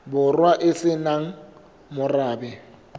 borwa e se nang morabe